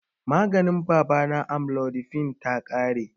Maganin baba na, amlodipine, ta ƙare jiya